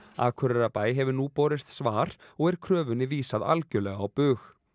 Akureyrarbæ hefur nú borist svar og er kröfunni vísað algjörlega á bug